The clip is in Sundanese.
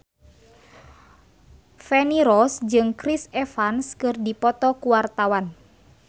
Feni Rose jeung Chris Evans keur dipoto ku wartawan